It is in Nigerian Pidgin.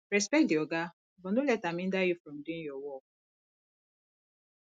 respect di oga but no let am hinder you from doing your work